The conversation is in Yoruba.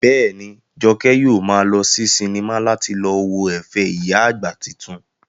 Bẹ́ẹ̀ni, Jọkẹ́ yóò maa lọ sí sinimá láti lọ wo ẹ̀fẹ̀ ìyá àgbà titun